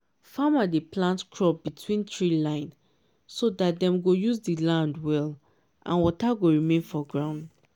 farmer dey plant crop between tree line so that dem go use the land well and water go remain for ground.